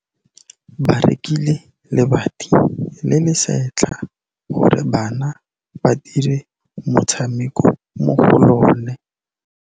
Ba rekile lebati le le setlha gore bana ba dire motshameko mo go lona.